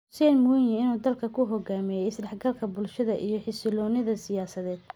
Hussein Mwinyi in uu dalka ku hogaamiyo isdhexgalka bulshada iyo xasiloonida siyaasadeed.